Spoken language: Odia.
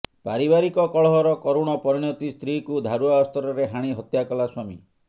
ପାରିବାରିକ କଳହର କରୁଣ ପରିଣତି ସ୍ତ୍ରୀକୁ ଧାରୁଆ ଅସ୍ତ୍ରରେ ହାଣି ହତ୍ୟା କଲା ସ୍ବାମୀ